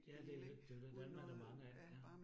Ja det jo det det jo det, dem er der mange af ja